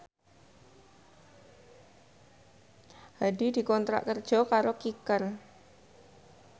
Hadi dikontrak kerja karo Kicker